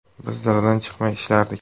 Biz daladan chiqmay ishlardik.